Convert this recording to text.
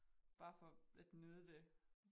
Bare for at nyde det